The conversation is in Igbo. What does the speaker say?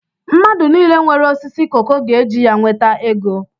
Mmadụ nile nwere osisi koko ga eji ya nweta ego